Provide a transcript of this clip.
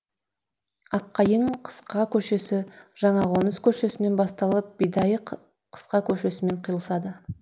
аққайың қысқа көшесі жаңақоныс көшесінен басталып бидайық қысқа көшесімен қиылысады